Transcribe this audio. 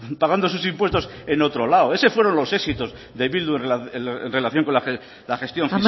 pagando sus impuestos en otro lado esos fueron los éxitos de bildu en relación con la gestión